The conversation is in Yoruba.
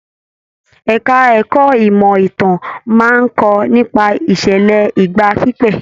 Ẹka ẹ̀kọ́ ìmọ ìtàn máa n kọ nípa ìṣẹlẹ ìgbà pípẹ́.